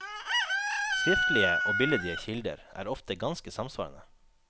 Skriftlige og billedlige kilder er ofte ganske samsvarende.